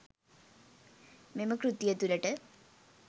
මෙම කෘතිය තුළට